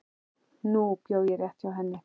Nú bjó ég rétt hjá henni.